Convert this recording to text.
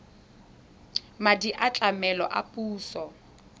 madi a tlamelo a puso